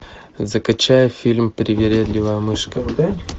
закачай фильм привередливая мышка